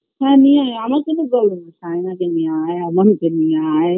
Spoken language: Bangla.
হ্যাঁ নিয়ে আয় আমার কোন problem নেই সাইনাকে নিয়ে আয় আমানকে নিয়ে আয়